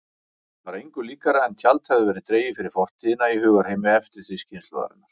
Var engu líkara en tjald hefði verið dregið fyrir fortíðina í hugarheimi eftirstríðskynslóðarinnar.